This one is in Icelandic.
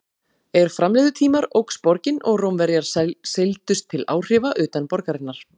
Er fram liðu tímar óx borgin og Rómverjar seildust til áhrifa utan borgarinnar.